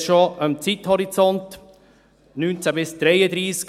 Sie sehen dies schon am Zeithorizont, 2019 bis 2033.